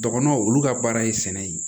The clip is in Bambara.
Dɔgɔnɔw olu ka baara ye sɛnɛ ye